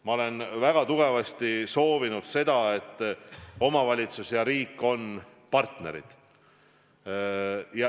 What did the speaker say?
Ma olen väga tugevasti soovinud seda, et omavalitsus ja riik on partnerid.